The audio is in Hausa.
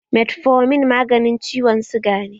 Metformin maganin ciwon suga ne